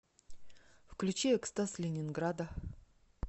включи экстаз ленинграда